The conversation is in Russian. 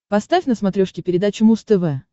поставь на смотрешке передачу муз тв